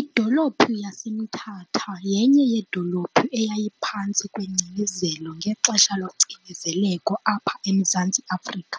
Idolophu yaseMthatha yenye yedolophu eyayiphantsi kwengcinezelo ngexesha locinezeleko apha eMzantsi Afrika